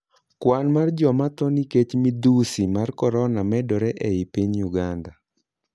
Kwan mar joma tho nikech midhusi mar corona medore ei piny Uganda.